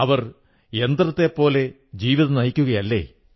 അവർ യന്ത്രത്തെപ്പോലെ ജീവിതം നയിക്കുകയല്ലേ